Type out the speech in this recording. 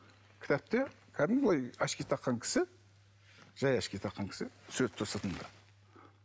кітапты кәдімгі былай очки таққан кісі жай очки таққан кісі тұр сыртында